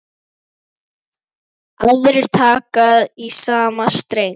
Aðrir taka í sama streng.